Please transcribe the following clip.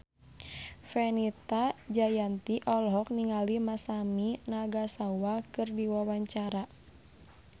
Fenita Jayanti olohok ningali Masami Nagasawa keur diwawancara